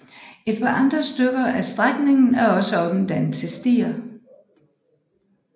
Et par andre stykker af strækningen er også omdannet til stier